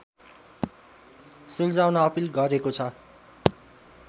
सुल्झाउन appeal गरेको छ